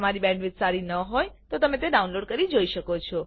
જો તમારી બેન્ડવિડ્થ સારી ન હોય તો તમે ડાઉનલોડ કરી તે જોઈ શકો છો